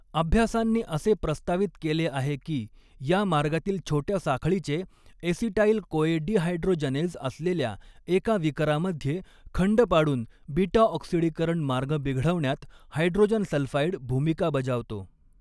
अभ्यासांनी असे प्रस्तावित केले आहे की या मार्गातील छोट्या साखळीचे एसिटाइल कोए डिहायड्रोजनेज असलेल्या एका विकरामध्ये खंड पाडून बीटा ऑक्सिडीकरण मार्ग बिघडवण्यात, हायड्रोजन सल्फाइड भूमिका बजावतो.